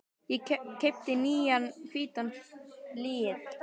Ég keypti nýjan hvítan flygil.